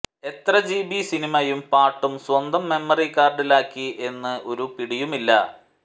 എത്ര ജിബി സിനിമയും പാട്ടും സ്വന്തം മെമ്മറി കാർഡിലാക്കി എന്ന് ഒരു പിടിയുമില്ല